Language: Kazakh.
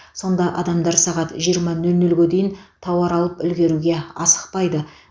сонда адамдар сағат жиырма нөл нөлге дейін тауар алып үлгеруге асықпайды